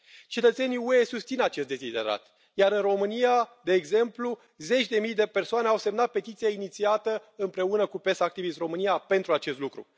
Cetățenii UE susțin acest deziderat, iar în România, de exemplu, zeci de mii de persoane au semnat petiția inițiată împreună cu PES activists România pentru acest lucru.